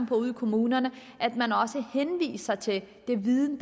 på ude i kommunerne at man også henviser til den viden